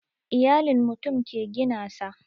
Iyalin mutum ke gina sa